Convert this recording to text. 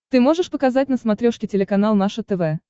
ты можешь показать на смотрешке телеканал наше тв